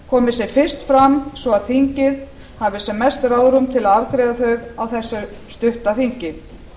komi sem fyrst fram svo að þingið hafi sem mest ráðrúm til að afgreiða þau á þessu stutta þingi